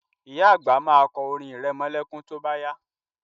Ìyá àgbà ma kọ orin irẹmọlẹ́kún tó bá yá